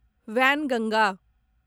Wainganga